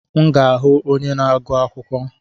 M ga-ahụ onye na-agụ akwụkwọ.